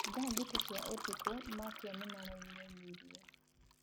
Thaa thĩta cĩa ũtũkũ matawa nĩmaraĩnaĩnĩre